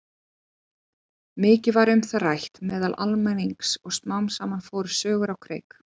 Mikið var um það rætt meðal almennings og smám saman fóru sögur á kreik.